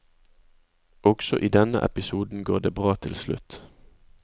Også i denne episoden går det bra til slutt.